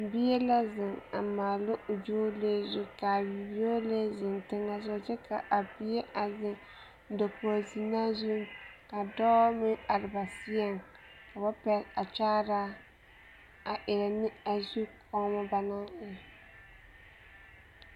Bie la zeŋ a maala o yɔɔlee zu ka a o yɔɔlee zeŋ teŋɛsogɔ kyɛ ka bie a zeŋ dakogi zenaa zuŋ ka dɔɔ meŋ are ba seɛŋ ka ba pɛgele a kyaaraa a erɛ ne a zu kɔɔmo banaŋ eŋ.